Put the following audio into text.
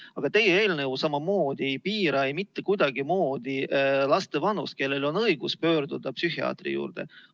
Aga teie eelnõu samamoodi ei piira mitte kuidagi nende laste vanust, kellel on õigus pöörduda psühhiaatri poole.